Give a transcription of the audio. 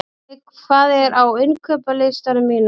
Olli, hvað er á innkaupalistanum mínum?